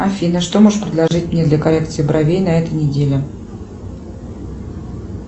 афина что можешь предложить мне для коррекции бровей на этой неделе